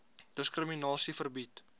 diskrimina sie verbied